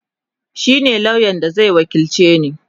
shine lauyan da Zai wakilce ni